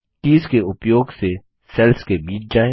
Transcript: keys के उपयोग से सेल्स के बीच जाएँ